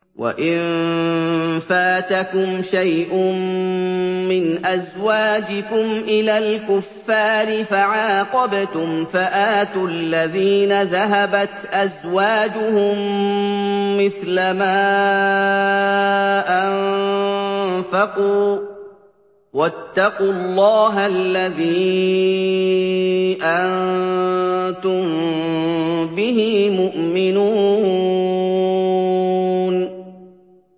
وَإِن فَاتَكُمْ شَيْءٌ مِّنْ أَزْوَاجِكُمْ إِلَى الْكُفَّارِ فَعَاقَبْتُمْ فَآتُوا الَّذِينَ ذَهَبَتْ أَزْوَاجُهُم مِّثْلَ مَا أَنفَقُوا ۚ وَاتَّقُوا اللَّهَ الَّذِي أَنتُم بِهِ مُؤْمِنُونَ